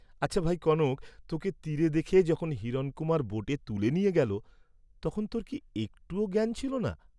আচ্ছা, ভাই কনক, তোকে তীরে দেখে যখন হিরণকুমার বোটে তুলে নিয়ে গেল, তখন তোর কি একটুও জ্ঞান ছিল না?